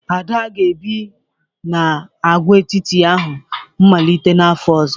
Ada ga-ebi n'agwaetiti ahụ malite n'afọ ọzọ